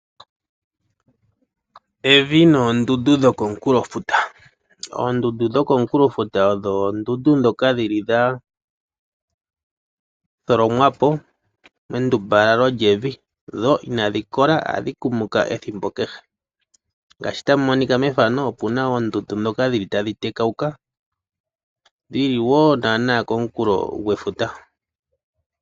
Evi noondundu dhokomukulofuta. Oondundu dhokomukulofuta odho oondundu dhoka dhili dhatholomwapo mendumbalalo lyevi dho inadhikola ohadhi kumuka ethimbo kehe. Ngeshi tamu monika methano opuna oondundu ndhoka dhili tadhi tekawuka dhili wo naanaa komukulo gwefuta.